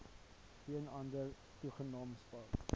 geen ander toegangspad